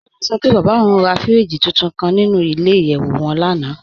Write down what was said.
Kọ́lá sọ pé bábá ọ̀un rà fíríjì túntún kàn nínú ilẹ̀-ìyẹ̀wù wọn lánà.